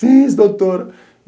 Fiz, doutor.